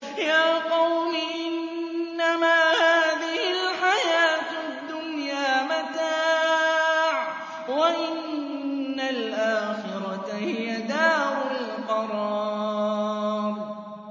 يَا قَوْمِ إِنَّمَا هَٰذِهِ الْحَيَاةُ الدُّنْيَا مَتَاعٌ وَإِنَّ الْآخِرَةَ هِيَ دَارُ الْقَرَارِ